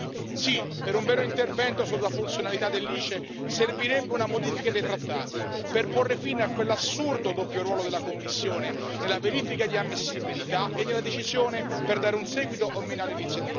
Sì, per un vero intervento sulla funzionalità dell'ICE servirebbe una modifica dei trattati per porre fine a quell'assurdo doppio ruolo della Commissione nella verifica di ammissibilità e nella decisione per dare un seguito o meno alle iniziative.